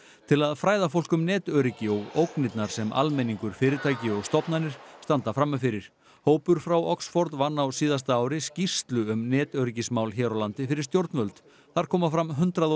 til að fræða fólk um netöryggi og ógnirnar sem almenningur fyrirtæki og stofnanir standa frammi fyrir hópur frá Oxford vann á síðasta ári skýrslu um netöryggismál hér á landi fyrir stjórnvöld þar koma fram hundrað og